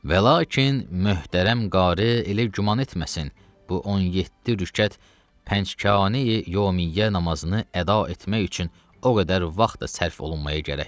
Və lakin möhtərəm qarı elə güman etməsin bu 17 rükət pəncgane-yi yevmiyə namazını əda etmək üçün o qədər vaxt da sərf olunmaya gərək.